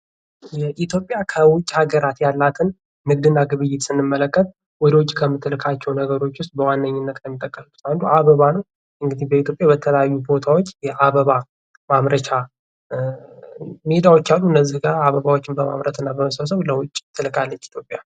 የኢትዮጵያ ከዉጭ ሀገራት ያላትን ንግድ እና ግብየት ስንመለከት ወደ ዉጭ ከምትላካቸው ነገሮች ዉስጥ በዋነኝነት አበባ ነው እንግዲህ በኢትዮጵያ በተለያዩ ቦታዎች የአበባ ማምረቻ ሜዳዎች አሉ። በእነዚህ አበባዎችን በማመረት እና በመሰብሰብ ወደ ዉጭ ትልካለች።